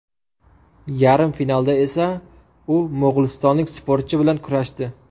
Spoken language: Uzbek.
Yarim finalda esa u mo‘g‘ulistonlik sportchi bilan kurashdi.